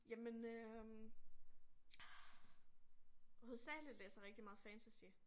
Jamen øh hovedsageligt læser jeg rigtig meget fantasy